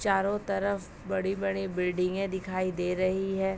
चारो तरफ बड़ी-बड़ी बिल्डिंगे दिखाई दे रही हैं।